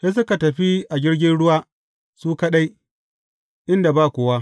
Sai suka tafi a jirgin ruwa su kaɗai, inda ba kowa.